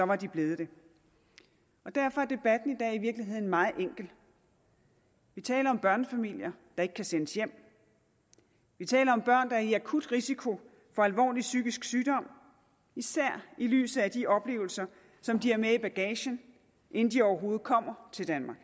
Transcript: var de blevet det og derfor er debatten i dag i virkeligheden meget enkel vi taler om børnefamilier der ikke kan sendes hjem vi taler om børn der er i akut risiko for alvorlig psykisk sygdom især i lyset af de oplevelser som de har med i bagagen inden de overhovedet kommer til danmark